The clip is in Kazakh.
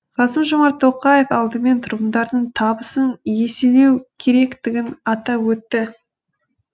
қасым жомарт тоқаев алдымен тұрғындардың табысын еселеу керектігін атап өтті